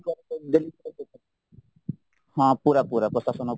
ହଁ ପୁରା ପୁରା ପ୍ରଶାସନ ଉପରେ